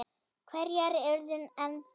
Hverjar urðu efndir?